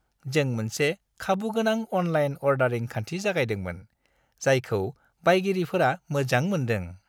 जों मोनसे खाबुगोनां अनलाइन अर्डारिं खान्थि जागायदोंमोन, जायखौ बायगिरिफोरा मोजां मोन्दों।